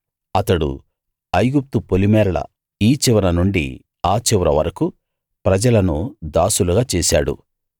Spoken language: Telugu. అతడు ఐగుప్తు పొలిమేరల ఈ చివరనుండి ఆ చివర వరకూ ప్రజలను దాసులుగా చేశాడు